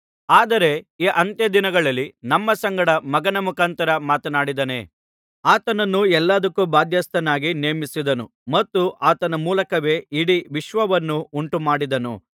ಆದರೆ ಈ ಅಂತ್ಯ ದಿನಗಳಲ್ಲಿ ನಮ್ಮ ಸಂಗಡ ಮಗನ ಮುಖಾಂತರ ಮಾತನಾಡಿದ್ದಾನೆ ಆತನನ್ನು ಎಲ್ಲದಕ್ಕೂ ಬಾಧ್ಯಸ್ಥನನ್ನಾಗಿ ನೇಮಿಸಿದನು ಮತ್ತು ಆತನ ಮೂಲಕವೇ ಇಡೀ ವಿಶ್ವವನ್ನು ಉಂಟುಮಾಡಿದನು